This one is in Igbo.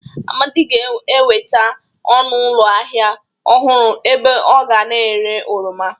Amadị ga-enweta ọnụ ụlọ ahịa ọhụrụ ebe ọ ga na-ere oroma.